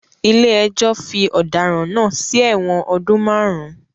Ilé ẹjọ́ fi ọ̀daràn náà sí ẹ̀wọ̀n ọdún márùn-ún